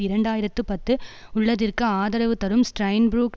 இரண்டு ஆயிரத்து பத்து உள்ளதிற்கு ஆதரவு தரும் ஸ்ட்ரைன்புரூக்